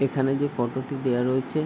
এখানে যে ফটো -টি দেওয়া রয়েছে--